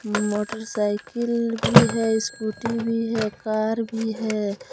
Motorcycle भी है scooty भी है कार भी है।